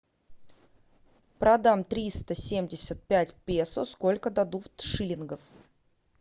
продам триста семьдесят пять песо сколько дадут шиллингов